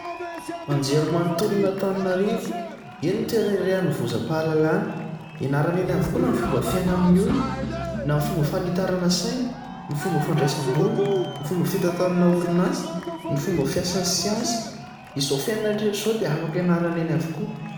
Anjerimanontolon' Antananarivo eny ny toerana iray hanovozam-pahalalana. Ianarana eny avokoa na ny fomba fiaina amin'ny olona na amin'ny fomba fanitarana saina, ny fomba fandraisam-bola, ny fomba fitantanana orinasa, ny fomba fiasan'ny siansa. Izao fiainana rehetra rehetra izao dia afaka ianarana eny avokoa.